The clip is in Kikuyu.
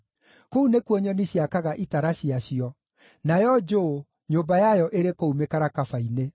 Kũu nĩkuo nyoni ciakaga itara ciacio; nayo njũũ, nyũmba yayo ĩrĩ kũu mĩkarakaba-inĩ.